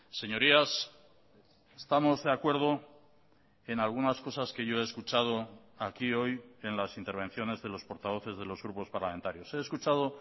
señorías estamos de acuerdo en algunas cosas que yo he escuchado aquí hoy en las intervenciones de los portavoces de los grupos parlamentarios he escuchado